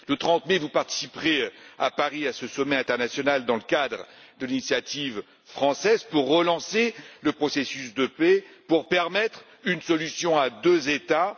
Le 30 mai, vous participerez à Paris à ce sommet international dans le cadre de l'initiative française pour relancer le processus de paix et parvenir à une solution à deux États.